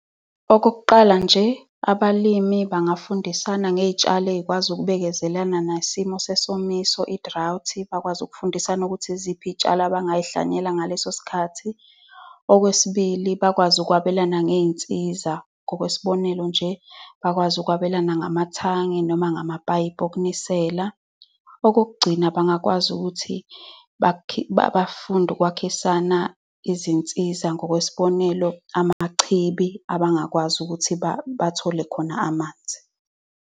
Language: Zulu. Okokuqala nje, abalimi bengafundisana ngey'tshalo ey'kwazi ukubekezelana nesimo sesomiso, i-drought. Bakwazi ukufundisana ukuthi yiziphi izitshalo abangazihlwanyela ngaleso sikhathi. Okwesibili, bakwazi ukwabelana ngey'nsiza. Ngokwesibonelo nje, bakwazi ukwabelana namathangi noma ngamapayipi okunisela. Okokugcina, bangakwazi ukuthi bafunde ukwakhisana izinsiza. Ngokwesibonelo, amachibi abangakwazi ukuthi bathole khona amanzi.